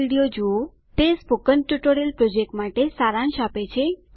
httpspoken tutorialorgWhat is a Spoken Tutorial તે spoken tutorial project માટે સારાંશ આપે છે